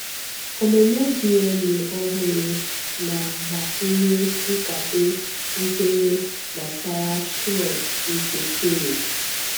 Ọmụmụ DNA ọhụrụ na agbakwunye nkwado nkwenye gbasara Shroud nke Turin